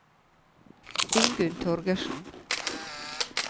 Ingunn Torgersen